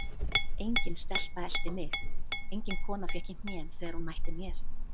Engin stelpa elti mig, engin kona fékk í hnén þegar hún mætti mér.